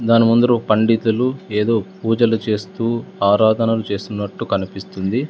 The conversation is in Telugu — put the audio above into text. దాని ముందురు ఓ పండితులు ఏదో పూజలు చేస్తూ ఆరాధనలు చేస్తున్నట్టు కనిపిస్తుంది.